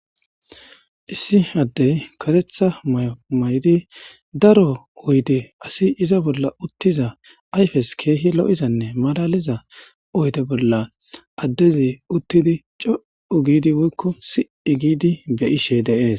Issi addey karetha may7o maydi daro uydi asi iza bolla uttiza ayfes keehi lo7izanne malaliza oyde bolla addezi uttidi co7u giidi woykko sii giidi be ishe deees